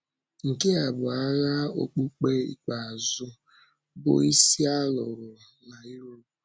Nke a bụ ághà okpùkpe ikpeazụ bụ́ isi a lụrụ na Europe.